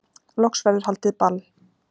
Loks verður haldið ball